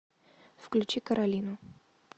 включи каролину